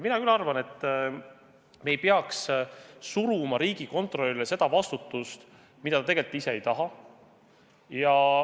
Mina arvan, et me ei peaks suruma riigikontrolörile seda vastutust, mida ta tegelikult ise ei taha.